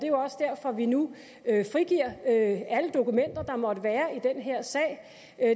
jo også derfor at vi nu frigiver alle dokumenter der måtte være i den her sag